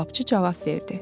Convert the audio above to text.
Kababçı cavab verdi.